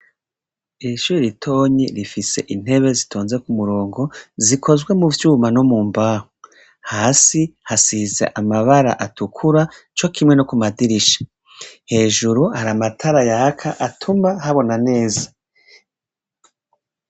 Iri shure ritonyi rifise intebe zitonze kumurongo ,zikozwe mu vyuma no mu mbaho .Hasi hasize amabara atukura co kimwe no ku madirisha hejuru hari amatara yaka atuma habona neza.